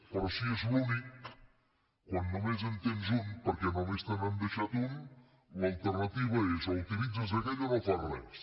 però si és l’únic quan només en tens un perquè només te n’han deixat un l’alternativa és o utilitzes aquell o no fas res